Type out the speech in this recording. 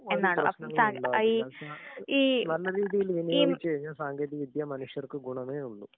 ഒരു പ്രശ്നങ്ങളും ഇണ്ടാവില്ലാ. അപ്പൊ താങ്കൾ ആഹ് ഈ നല്ല രീതിയില് ഈ തീരുമാനിച്ചു കഴിഞ്ഞാല് സാങ്കേതിക വിദ്യ മനുഷ്യർക്ക് ഗുണമേയുള്ളൂ. .